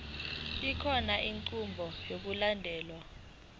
kukhona inqubo yokulandelayo